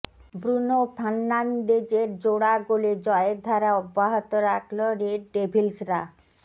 Bruno ফার্নান্দেজের জোড়া গোলে জয়ের ধারা অব্যহত রাখলো রেড ডেভিলসরা